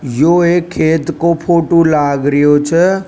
यो एक खेत का फोटो लाग रियो छ।